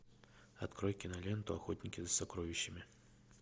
открой киноленту охотники за сокровищами